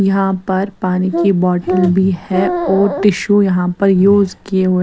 यहां पर पानी की बॉटल भी है और टिशु यहां पर यूज किए हुए--